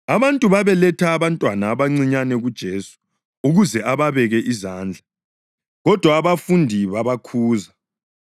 Abantu babeletha abantwana abancinyane kuJesu ukuze ababeke izandla, kodwa abafundi babakhuza.